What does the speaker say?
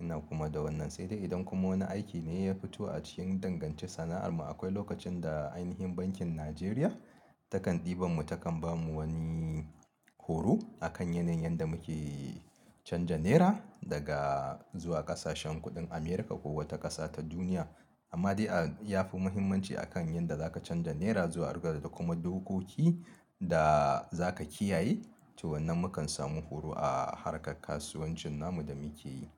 ina kuma da wannan. Sai dai idan kuma wani aiki ne ya fito a cikin dangance sana'ar mu, akwai lokacin da ainhin Bankin Najeriya takan ɗiban mu takan bamu wani horo a kan yanayin yanda muke canja Naira daga zuwa kasashen kuɗin America ko wata ƙasa ta duniya. Amma dai a ya fi muhimmanci a kan yanda za ka canja Naira zuwa riyal da kuma dokoki da za ka kiyaye. To wannan mu kan samu horo a harkar kasuwancin namu da muke yi.